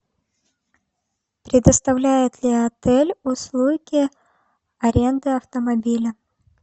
предоставляет ли отель услуги аренды автомобиля